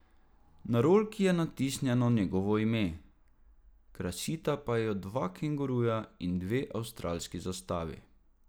Na rolki je natisnjeno njegovo ime, krasita pa jo dva kenguruja in dve avstralski zastavi.